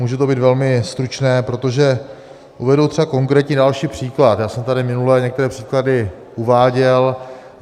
Může to být velmi stručné, protože uvedu třeba konkrétní další příklad, já jsem tady minule některé příklady uváděl.